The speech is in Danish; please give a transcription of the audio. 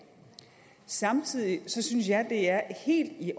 samtidig synes jeg at det er helt i